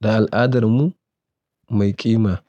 da al'adarmu mai ƙima.